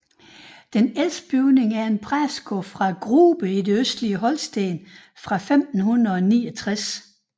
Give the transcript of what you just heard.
Den ældste bygning er en præstegård fra Grube i det østlige Holsten fra 1569